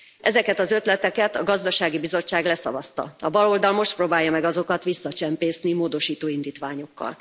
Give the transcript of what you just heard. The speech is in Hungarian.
Ezeket az ötleteket a Gazdasági Bizottság leszavazta, a baloldal most próbálja meg azokat visszacsempészni módosító indítványokkal.